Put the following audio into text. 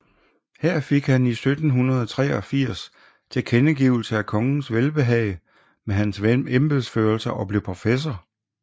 Her fik han 1783 tilkendegivelse af kongens velbehag med hans embedsførelse og blev professor